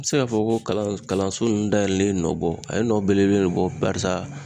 N be se k'a fɔ ko kalanso nunnu dayɛlɛlen ye nɔ bɔ a ye nɔ belebele de bɔ barisa